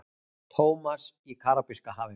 Thomas í Karabíska hafinu.